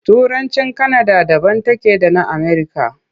Turancin Kanada daban take da na Amerika.